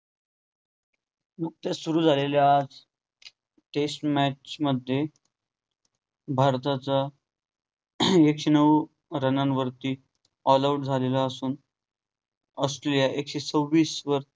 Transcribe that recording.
नुकत्या सुरु झालेल्या test match मधे भारताचा एकशे नऊ runs वरती all out झालेला असून ऑस्ट्रेलिया एकशे सव्विसवर